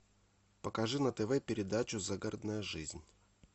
покажи на тв передачу загородная жизнь